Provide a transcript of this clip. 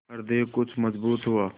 हृदय कुछ मजबूत हुआ